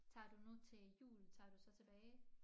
Tager du nu til jul tager du så tilbage?